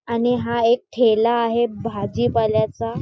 आणि हा एक ठेला आहे भाजीपाल्याचा.